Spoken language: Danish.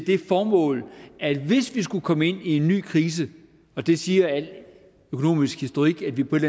det formål at hvis vi skulle komme ind i en ny krise og det siger al økonomisk historik at vi på et